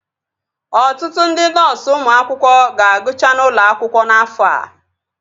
Ọtụtụ ndị nọọsu ụmụ akwụkwọ ga-agụcha n'ụlọ akwụkwọ n'afọ a